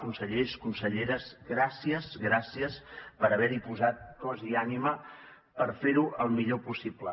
consellers conselleres gràcies gràcies per haver hi posat cos i ànima per fer ho el millor possible